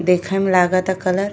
देखें में लागता कलर --